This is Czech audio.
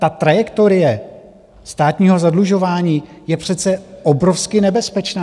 Ta trajektorie státního zadlužování je přece obrovsky nebezpečná.